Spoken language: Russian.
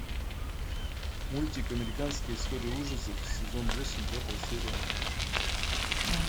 мультик американская история ужасов сезон восемь пятая серия